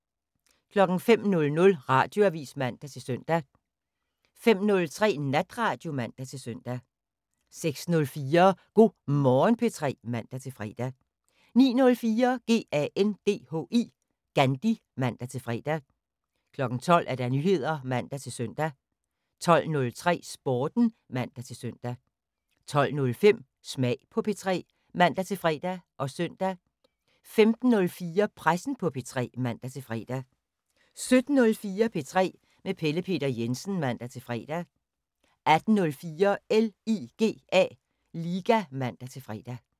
05:00: Radioavis (man-søn) 05:03: Natradio (man-søn) 06:04: Go' Morgen P3 (man-fre) 09:04: GANDHI (man-fre) 12:00: Nyheder (man-søn) 12:03: Sporten (man-søn) 12:05: Smag på P3 (man-fre og søn) 15:04: Pressen på P3 (man-fre) 17:04: P3 med Pelle Peter Jensen (man-fre) 18:04: LIGA (man-fre)